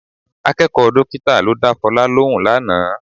Akẹ́kọ̀ọ́ dọ́kítà ló dá Fọlá lóhùn lánàá